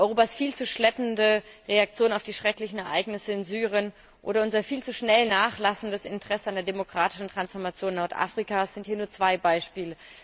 Europas viel zu schleppende Reaktion auf die schrecklichen Ereignisse in Syrien oder unser viel zu schnell nachlassendes Interesse an der demokratischen Transformation Nordafrikas sind hier nur zwei Beispiele.